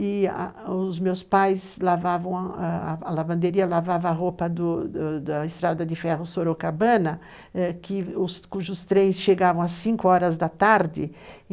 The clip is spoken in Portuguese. E a os meus pais lavavam a lavanderia, lavavam a roupa do do da estrada de ferro Sorocabana, que cujos trens chegavam às 5 horas da tarde.